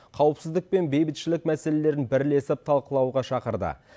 қауіпсіздік пен бейбітшілік мәселелерін бірлесіп талқылауға шақырды